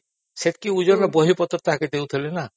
ସେତିକି ଓଜନର ବହିପତ୍ର ତାକୁ ଦଉଥିଲେ ନା